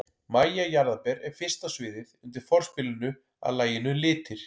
MÆJA JARÐARBER er fyrst á sviðið undir forspilinu að laginu Litir.